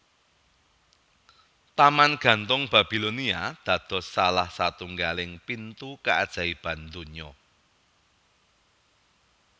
Taman gantung Babilonia dados salah satunggaling pitu kaajaiban dunya